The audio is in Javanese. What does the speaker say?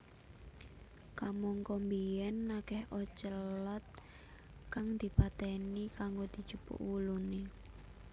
Kamangka biyen akeh ocelot kang dipateni kanggo dijupuk wulune